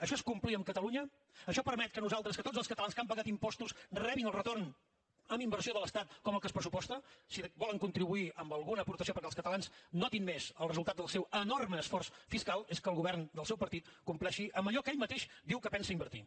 això és complir amb catalunya això permet que nosaltres que tots els catalans que han pagat impostos rebin el retorn en inversió de l’estat com el que es pressuposta si volen contribuir amb alguna aportació perquè els catalans notin més el resultat del seu enorme esforç fiscal és que el govern del seu partit compleixi amb allò que ell mateix diu que pensa invertir